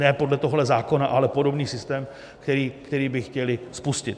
Ne podle tohoto zákona, ale podobný systém, který by chtěli spustit.